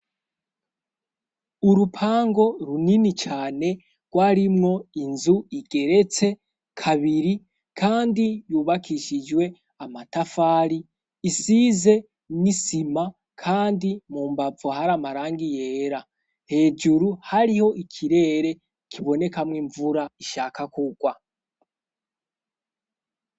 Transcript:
urupango runini cane rw'arimwo inzu igeretse kabiri kandi yubakishijwe amatafari isize n'isima kandi mu mbavu hari amarangi yera hejuru hariho ikirere kibonekamwo imvura ishaka kugwa